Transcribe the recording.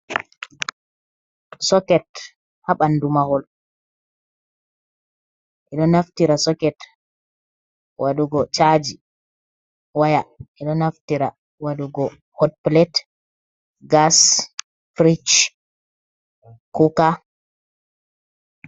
Soket ha ɓandu mahol ɓeɗo naftira soket waɗugo chaji waya, ɓedo naftira wadugo hotplate, gas, firish, kuka.